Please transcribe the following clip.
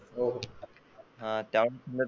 हो आता .